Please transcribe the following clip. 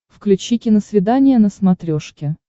включи киносвидание на смотрешке